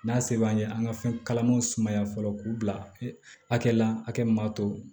N'a se b'an ye an ka fɛn kalamanw sumaya fɔlɔ k'u bila hakɛ la hakɛ min b'a to